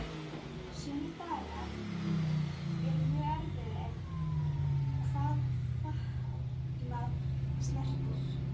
Sumir dagar eru mjög erfiðir hvað fatnað snertir.